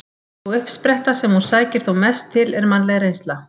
Sú uppspretta sem hún sækir þó mest til er mannleg reynsla.